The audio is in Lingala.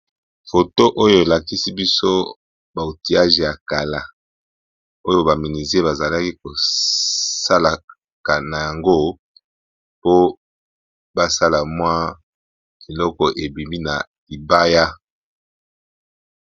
Foto oyo elakisi biso ba outillage ya kala oyo ba menuisier bazalaki kosala nango biloko ebimi na mabaya.